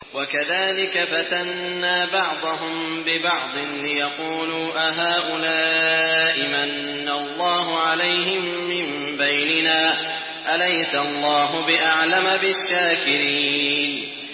وَكَذَٰلِكَ فَتَنَّا بَعْضَهُم بِبَعْضٍ لِّيَقُولُوا أَهَٰؤُلَاءِ مَنَّ اللَّهُ عَلَيْهِم مِّن بَيْنِنَا ۗ أَلَيْسَ اللَّهُ بِأَعْلَمَ بِالشَّاكِرِينَ